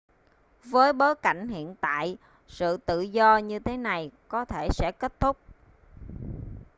với bối cảnh hiện tại sự tự do như thế này có thể sẽ kết thúc